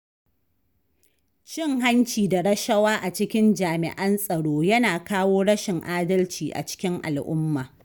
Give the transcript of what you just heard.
Cin hanci da rashawa a cikin jami'an tsaro Yana kawo rashin adalci a cikin al'umma.